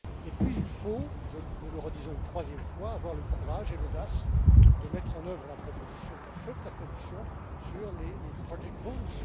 Puis, il faut nous le redisons une troisième fois avoir le courage et l'audace de mettre en œuvre la proposition qu'a faite la Commission sur les project bonds